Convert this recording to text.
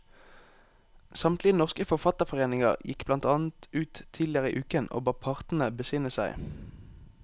Samtlige norske forfatterforeninger gikk blant annet ut tidligere i uken og ba partene besinne seg.